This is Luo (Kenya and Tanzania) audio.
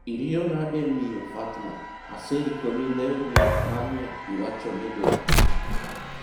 iriyo nade miyo fatma, aseikoni lewni manye iwacho ni idwaro